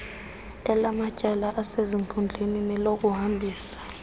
elamatyala asezinkundleni nelokuhambisa